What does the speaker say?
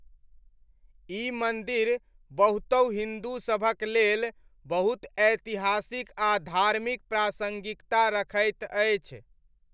ई मन्दिर बहुतहु हिन्दूसभक लेल बहुत ऐतिहासिक आ धार्मिक प्रासङ्गिकता रखैत अछि।